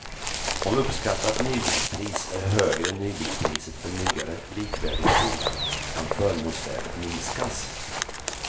Om uppskattat nybilspris är högre än nybilspriset för nyare likvärdiga bilar kan förmånsvärdet minskas.